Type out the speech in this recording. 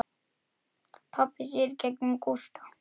Pabbi sér í gegnum Gústa.